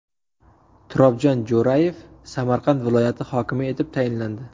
Turobjon Jo‘rayev Samarqand viloyati hokimi etib tayinlandi .